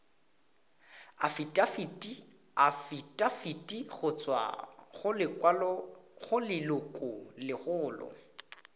afitafiti go tswa go lelokolegolo